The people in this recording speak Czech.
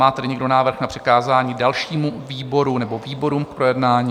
Má tedy někdo návrh na přikázání dalšímu výboru nebo výborům k projednání?